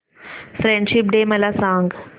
friendship day मला सांग